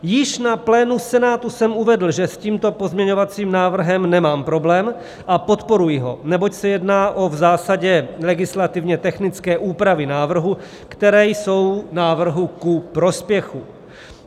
Již na plénu Senátu jsem uvedl, že s tímto pozměňovacím návrhem nemám problém a podporuji ho, neboť se jedná v zásadě o legislativně technické úpravy návrhu, které jsou návrhu ku prospěchu.